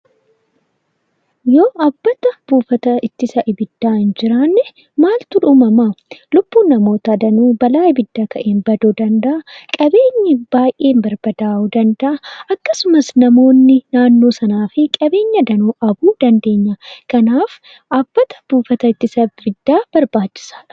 Yoo dhaabbata buufata ittisa abiddaa hin jiraanne maaltu uumamaa? Lubbuun namootaa danuu balaa abidda ka'een baduu danda'a. Qabeenyi baay'een barbadaa'uu danda'a. Akkasumas namoonni naannoo sanaa fi qabeenya danuu dandeenya. Kanaaf dhaabbata buufata ittisa abiddaa barbaachisaadha.